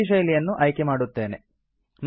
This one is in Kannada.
ನಾನು ಈ ಶೈಲಿಯನ್ನು ಆಯ್ಕೆ ಮಾಡುತ್ತೇನೆ